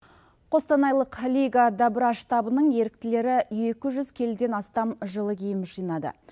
қостанайлық лига добра штабының еріктілері екі жүз келіден астам жылы киім жинады